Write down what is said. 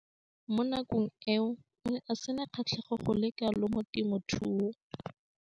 Mo nakong eo o ne a sena kgatlhego go le kalo mo temothuong.